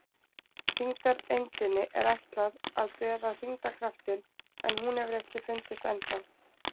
Þyngdareindinni er ætlað að bera þyngdarkraftinn en hún hefur ekki fundist ennþá.